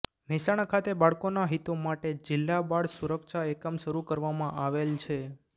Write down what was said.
મહેસાણા ખાતે બાળકોના હિતો માટે જિલ્લા બાળ સુરક્ષા એકમ શરૂ કરવામાં આવેલ છે